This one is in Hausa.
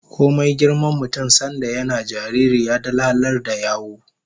Komai girman mutum, sanda yana jariri ya dalalar da yawu